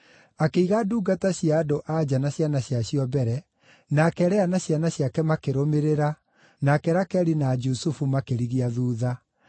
Akĩiga ndungata cia andũ-a-nja na ciana ciacio mbere, nake Lea na ciana ciake makĩrũmĩrĩra, nake Rakeli na Jusufu makĩrigia thuutha.